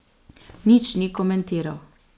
Nič ni komentiral.